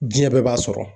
Diɲɛ bɛɛ b'a sɔrɔ